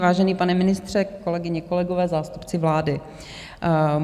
Vážený pane ministře, kolegyně, kolegové, zástupci vlády.